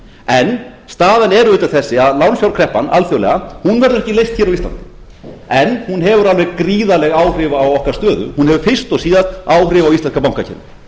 en staðan er auðvitað þessi að lánsfjárkreppan alþjóðlega verður ekki leyst hér á íslandi en hún hefur alveg gríðarleg áhrif á okkar stöðu hún hefur fyrst og síðast áhrif á íslenska bankakerfið